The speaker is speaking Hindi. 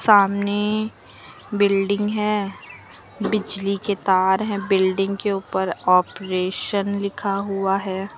सामने बिल्डिंग है बिजली के तार है बिल्डिंग के उपर ऑपरेशन लिखा हुआ हैं।